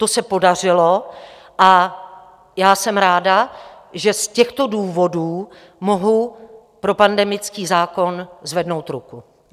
To se podařilo a já jsem ráda, že z těchto důvodů mohu pro pandemický zákon zvednout ruku.